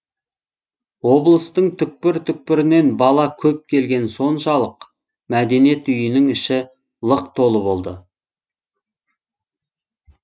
облыстың түпкір түпкірінен бала көп келгені соншалық мәдениет үйінің іші лық толы болды